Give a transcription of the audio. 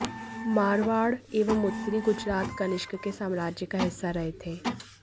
मारवाड़ एवं उत्तरी गुजरात कनिष्क के साम्राज्य का हिस्सा रहे थे